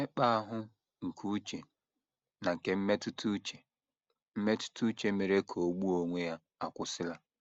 Mmekpa ahụ nke uche na nke mmetụta uche mmetụta uche mere ka o gbuo onwe ya akwụsịla.